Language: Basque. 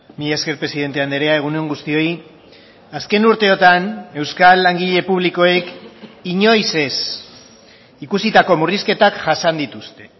mila esker presidente andrea egun on guztioi azken urteotan euskal langile publikoek inoiz ez ikusitako murrizketak jasan dituzte